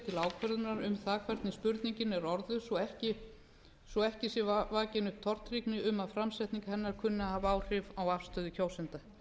til ákvörðunar um hvernig spurningin er orðuð svo ekki sé vakin nein tortryggni um að framsetning hennar kunni að hafa áhrif á afstöðu kjósenda